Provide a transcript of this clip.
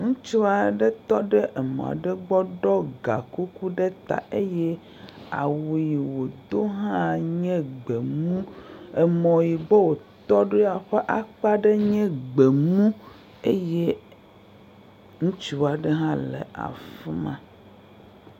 Ŋutsu aɖe tɔ ɖe emɔ aɖe gbɔ ɖɔ gakuku ɖe ta eye awu yi wòdo hã nye gbemu. Emɔ yi gbɔ wòtɔ ɖoa, ƒe akpa ɖe nye gbemu eye ŋutsu aɖe hã le afi ma.